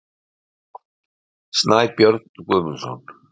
Kort: Snæbjörn Guðmundsson.